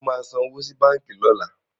Ṣé o máa san owó sí báǹkì lọ́la?